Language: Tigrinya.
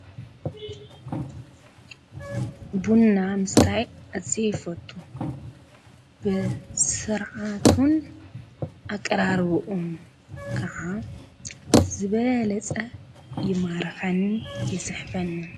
ቡና ምስታይ ኣዝየ ይፈቱ። ብስርዓቱን ኣቀራርብኡን ከዓ ብዝበለፀ ይማርኸኒ ይስሕበኒ።